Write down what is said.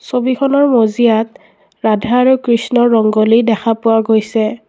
ছবিখনৰ মজিয়াত ৰাধা আৰু কৃষ্ণ ৰংগুলী দেখা পোৱা গৈছে।